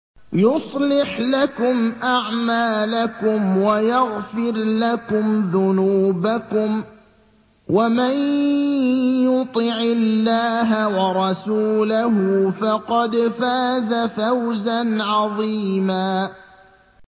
يُصْلِحْ لَكُمْ أَعْمَالَكُمْ وَيَغْفِرْ لَكُمْ ذُنُوبَكُمْ ۗ وَمَن يُطِعِ اللَّهَ وَرَسُولَهُ فَقَدْ فَازَ فَوْزًا عَظِيمًا